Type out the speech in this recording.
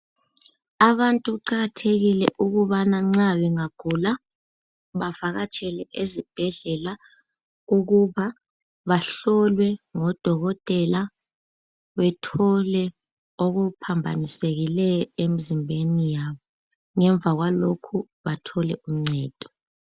Abantu kuqakathekile ukubana nxa bengagula bavakatshele ezibhedlela ukuba bahlolwe ngodokotela, bethole okuphambanisekileyo emzimbeni yabo ngemva kwalokho bathole uncedo.